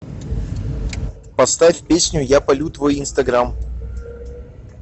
поставь песню я палю твой инстаграм